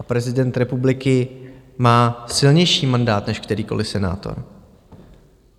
A prezident republiky má silnější mandát než kterýkoliv senátor.